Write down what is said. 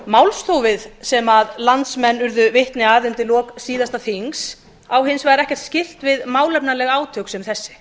málþófið sem landsmenn urðu vitni að undir lok síðasta þings á hins vegar ekkert skylt við málefnaleg átök sem þessi